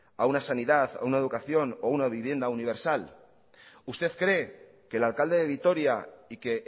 a una sanidad a una educación o a una vivienda universal usted cree que el alcalde de vitoria y que